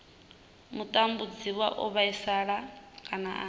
mutambudziwa o vhaisala kana a